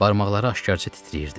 Barmaqları aşkarca titrəyirdi.